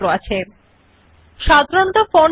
সাধারণত ফন্টের নাম লিবারেশন সেরিফ নির্দিষ্ট করা থাকে